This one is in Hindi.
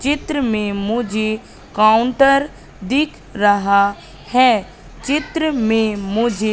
चित्र में मुझे काउंटर दिख रहा है चित्र में मुझे --